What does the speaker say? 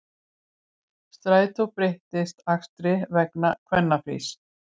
Strætó breytir akstri vegna kvennafrís